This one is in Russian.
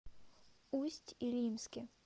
усть илимске